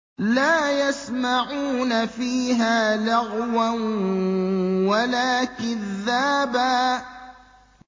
لَّا يَسْمَعُونَ فِيهَا لَغْوًا وَلَا كِذَّابًا